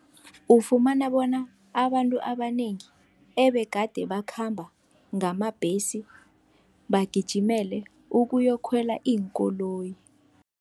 Ufumana bona abantu abanengi ebegade bakhamba ngamabhesi bagijimele ukuyokukhwela iinkoloyi.